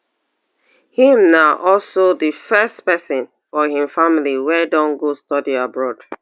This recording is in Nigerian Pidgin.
im na also di first pesin for im family wey don go study abroad